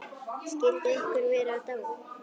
Skyldi einhver vera dáinn?